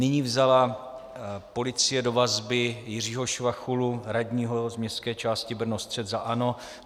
Nyní vzala policie do vazby Jiřího Švachulu, radního z městské části Brno-střed za ANO.